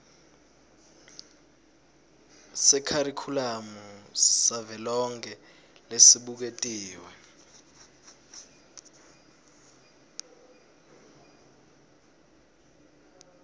sekharikhulamu savelonkhe lesibuketiwe